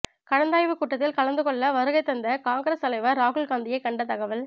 கலந்தாய்வுக் கூட்டத்தில் கலந்துகொள்ள வருகைதந்த காங்கிரஸ் தலைவர் ராகுல் காந்தியை கண்ட தகவல்